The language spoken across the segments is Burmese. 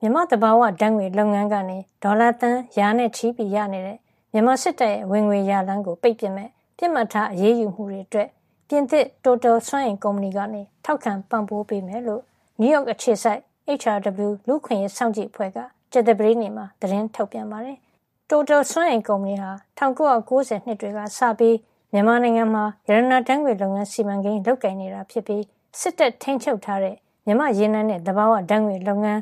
မြန်မာ့သဘာဝဓါတ်ငွေ့လုပ်ငန်းကနေ ဝင်ငွေ ဒေါ်လာသန်းရာနဲ့ချီရနေတဲ့ မြန်မာစစ်တပ်ရဲ့ ဝင်ငွေရလမ်းကို ပိတ်ပစ်မယ့် ပစ်မှတ်ထားအရေးယူမှုအတွက် ပြင်သစ်တိုတယ်စွမ်းအင် ကုမ္ပဏီက ထောက်ခံပံ့ပိုးမှာ ဖြစ်ကြောင်း နယူးရောက်အခြေစိုက် HRW လူ့အခွင့်ရေးစောင့်ကြည့်အဖွဲ့ က ကြာသပတေးနေ့မှာ သတင်းထုတ်ပြန်ပါတယ်။ တိုတယ်စွမ်းအင်ကုမ္ပဏီဟာ ၁၉၉၀ နှစ်တွေကစပြီး မြန်မာနိုင်ငံမှာ ရတနာဓါတ်ငွေ့လုပ်ငန်းစီမံကိန်း လုပ်ကိုင်နေတာဖြစ်ပြီး စစ်တပ်ထိန်းချုပ်ထားတဲ့ မြန်မာ့ရေနံနဲ့ သဘာဝဓါတ်ငွေ့လုပ်ငန်း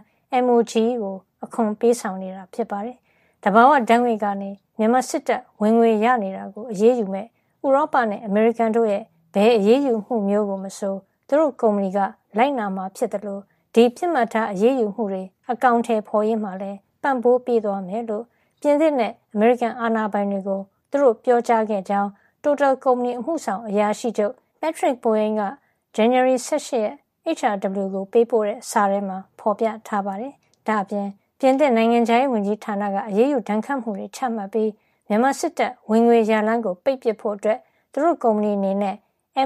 MOGE ကို အခွန်ပေးဆောင်နေတာ ဖြစ်ပါတယ်။ သဘာဝဓါတ်ငွေ့ကနေ မြန်မာစစ်တပ် ဝင်ငွေရနေတာကို အရေးယူမယ့် ဥရောပနဲ့ အမေရိကန်တို့ရဲ့ဘယ်အရေးယူမှုကိုမဆို သူတို့ကုမ္ပဏီက လိုက်နာမှာဖြစ်သလိုဒီပစ်မှတ်ထားအရေးယူမှုတွေ အကောင်ထည်ဖေါ်ရေးမှာလည်း ပံ့ပိုးသွားမှာ ဖြစ်ကြောင်း ပြင်သစ်နဲ့ အမေရိကန်အာဏာပိုင်တွေကို သူတို့ ပြောကြားခဲ့တယ်လို့ တိုတယ်ကုမ္ပဏီ အမှုဆောင်အရာရှိချုပ် Patrick Pouyanné က ဇန်နဝါရီ ၁၈ ရက် HRW ကို ပေးပို့တဲ့ စာထဲမှာ ဖေါ်ပြထားပါတယ်။ ဒါ့အပြင် ပြင်သစ်နိုင်ငံခြားရေးဝန်ကြီးဌာနက အရေးယူဒဏ်ခတ်မှုတွေချပြီးမြန်မာစစ်တပ်ဝင်ငွေရလမ်းကိုပိတ်ဖို့ သူတို့ကုမ္ပဏီအနေနဲ့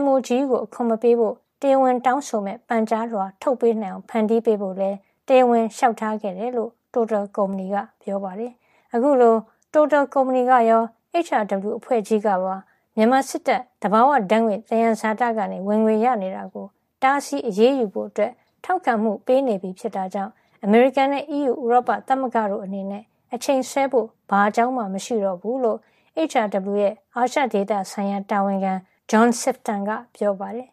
MOGE ကို အခွန်မပေးဖို့ တရားဝင်တောင်းဆိုမယ့် ပန်ကြားလွှာ ထုတ်ပေးနိုင်အောင် ဖန်တီးပေးဖို့လည်းတရားဝင်လေ ျှာက်ထားခဲ့ကြောင်း တိုတယ်ကုမ္ပဏီက ပြောပါတယ်။ အခုလို တိုတယ်ကုမ္ပဏီကရော HRW အဖွဲ့ကြီးကပါ မြန်မာစစ်တပ် သဘာဝဓါတ်ငွေ့ သယံဇာတကနေ ဝင်ငွေရနေတာကို တားဆီးအရေးယူဖို့ ထောက်ခံမှုပေးနေပြီဖြစ်တဲ့အတွက် အမေရိကန်နဲ့ အီးယူဥရောပသမဂ္ဂတို့အနေနဲ့ အချိန်ဆွဲဖို့ ဘာအကြောင်းမှ မရှိတော့ဘူးလို့ HRW ရဲ့ အာရှဒေသဆိုင်ရာ တာဝန်ခံ John Sifton ကပြောပါတယ်